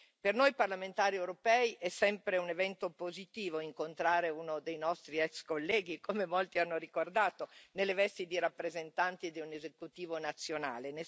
Per noi parlamentari europei, è sempre un evento positivo incontrare uno dei nostri ex colleghi, come molti hanno ricordato, nelle vesti di rappresentanti di un esecutivo nazionale.